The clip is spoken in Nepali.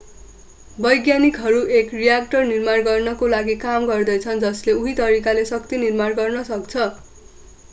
वैज्ञानिकहरू एक रियाक्टर निर्माण गर्नको लागि काम गर्दै छन् जसले उही तरिकाले शक्ति निर्माण गर्न सक्छ